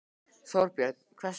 Þorbjörn: Hvers vegna?